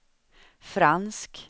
fransk